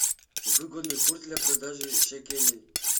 выгодный курс для продажи шекелей